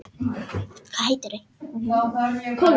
En Þórbergur hefur svarað honum og öðrum fyrirfram